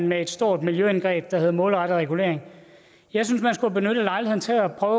med et stort miljøindgreb der hedder målrettet regulering jeg synes man skulle have benyttet lejligheden til at prøve